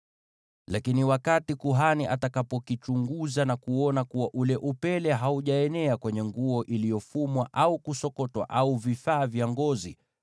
“Lakini wakati kuhani atakapokichunguza na kuona kuwa ule upele haujaenea kwenye nguo iliyofumwa au kusokotwa, au vifaa vya ngozi,